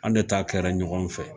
An de ta kɛra ɲɔgɔn fɛ